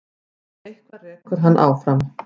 Eitthvað sem rekur hann áfram.